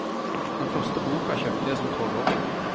Den første boka kjøpte jeg som tolvåring.